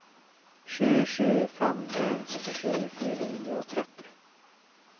sju sju fem en syttisju fire hundre og tretti